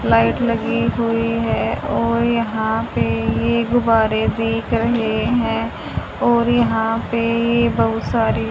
light लगी हुई है और यहां पे ये गुब्बारे दिख रहे हैं और यहां पे ये बहुत सारी--